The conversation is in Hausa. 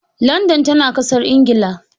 Landan tana Ƙasar Ingila